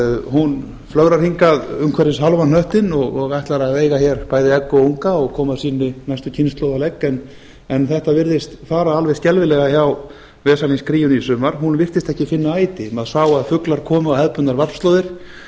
hún flögrar hingað umhverfis hálfan hnöttinn og ætlar að veiða hér bæði egg og unga krían veiðir ekki egg eða unga og koma sinni næstu kynslóð á legg en þetta virtist fara alveg skelfilega hjá vesalings kríunni í sumar hún virtist ekki finna æti maður sá að fuglar komu á hefðbundnar varpslóðir